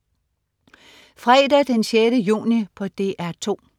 Fredag den 6. juni - DR 2: